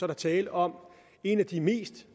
der tale om en af de mest